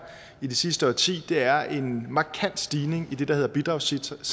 i det sidste årti er en markant stigning i det der hedder bidragssatserne